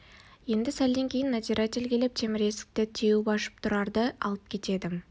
енді сәлден кейін надзиратель келіп темір есікті теуіп ашып тұрарды алып кетеді